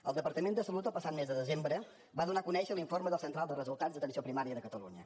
el departament de salut el passat mes de desembre va donar a conèixer l’informe de la central de resultats d’atenció primària de catalunya